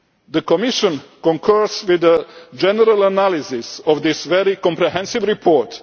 The Commission concurs with the general analysis of this very comprehensive report.